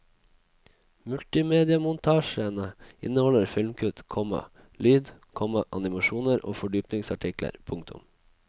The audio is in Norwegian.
Multimediamontasjene inneholder filmkutt, komma lyd, komma animasjoner og fordypningsartikler. punktum